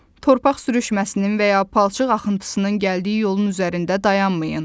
Torpaq sürüşməsinin və ya palçıq axıntısının gəldiyi yolun üzərində dayanmayın.